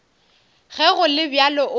ge go le bjalo o